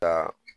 Ka